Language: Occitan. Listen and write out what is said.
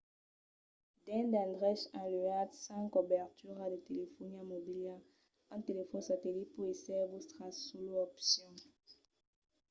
dins d'endreches alunhats sens cobertura de telefonia mobila un telefòn satellit pòt èsser vòstra sola opcion